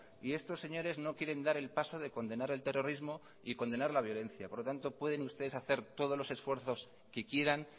y estos señores no quieren dar el paso de condenar el terrorismo y condenar la violencia por lo tanto pueden ustedes hacer todos los esfuerzos que quieran